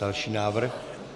Další návrh.